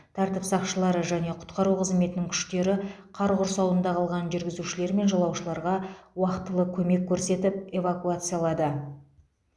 тәртіп сақшылары және құтқару қызметінің күштері қар құрсауында қалған жүргізушілер мен жолаушыларға уақтылы көмек көрсетіп эвакуациялады